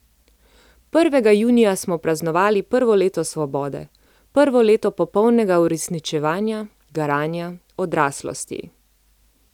Prvega junija smo praznovali prvo leto svobode, prvo leto popolnega uresničevanja, garanja, odraslosti.